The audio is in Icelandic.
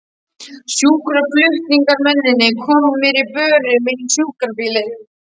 Sjúkraflutningamennirnir komu mér á börum inn í sjúkrabílinn.